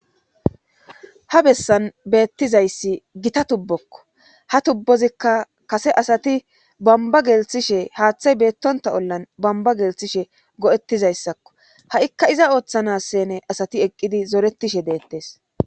Ha bessan beettizayssi gita tubbokko ha tubbozikka kase asati bamba gelthishe haaththay beettonta ollan bamba gelthishe go7ettizayssakko ha7ikka iza ooththana sene asati eqqidi zoretishe deettees.